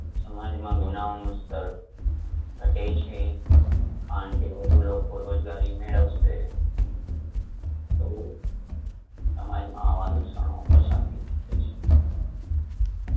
સમાજમાં ગુનાઓનું સ્તર ઘટે છે કારણ કે વધુ લોકો રોજગારી મેળવશે તો સમાજમાં આવા દૂષણો ઓછા થઈ શકે છે